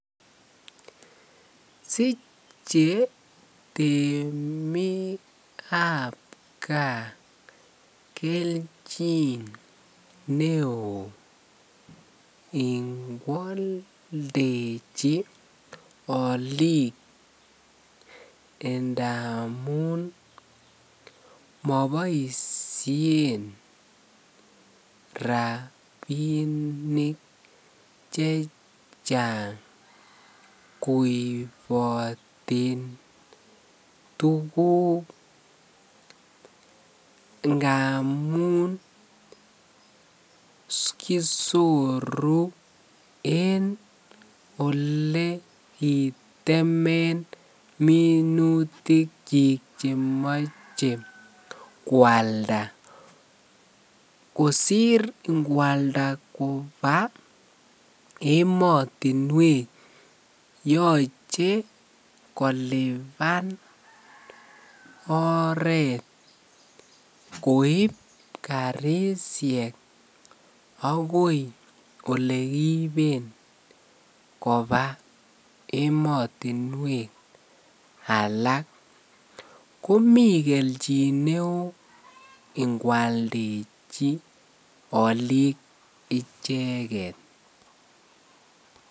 Siche temik ab gaa kelchin neon en kwaldechi Alik ndamun mabaishen rabinik chechang koibaten tuguk ngamun kisotu en olekitemen minutik chik chemache kwalda kosir kwalda Koba ematunwek yoche koliban oret koib karishek akoi olekiben Koba ematunwek alak komikelchin neon ingwaldechi Alik icheket